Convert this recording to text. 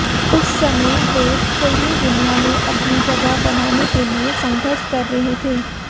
उस समय वे फिल्मी दुनिया में अपनी जगह बनाने के लिए संघर्ष कर रहे थे